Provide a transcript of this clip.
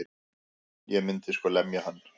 Ég myndi sko lemja hann.